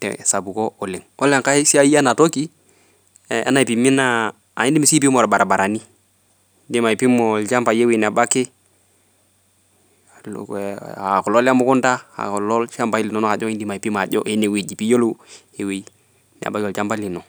tesapuko oleng' ore engae naa idim aipima orbarabarani idim aipima ilchampai enebaki aakulo lemukunda pee iyiolou eweji nebaki olchamba lino.